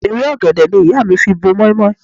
Ewé ọ̀gẹ̀dẹ̀ ni ìyá mi fi bo mọ́í-mọ́í.